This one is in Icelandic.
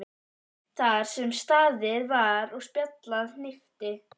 Þar sem staðið var og spjallað hnippti